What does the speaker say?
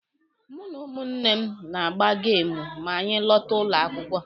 Mụ na ụmụnne m na-agba geemụ ma anyị lọta ụlọ akwụkwọ.